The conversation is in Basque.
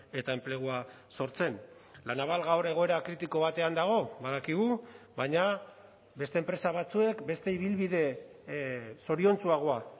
eta enplegua sortzen la naval gaur egoera kritiko batean dago badakigu baina beste enpresa batzuek beste ibilbide zoriontsuagoa